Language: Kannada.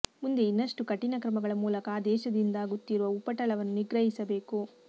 ಮುಂದೆ ಇನ್ನಷ್ಟು ಕಠಿನ ಕ್ರಮಗಳ ಮೂಲಕ ಆ ದೇಶದಿಂದಾಗುತ್ತಿರುವ ಉಪಟಳವನ್ನು ನಿಗ್ರಹಿಸಬೇಕು